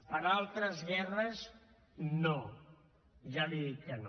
per a altres guerres no ja li dic que no